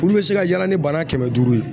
Olu bɛ se ka yaala ni bana kɛmɛ duuru ye